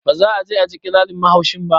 Ba za'a je aji ƙirarin mahaushin ba